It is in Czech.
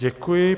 Děkuji.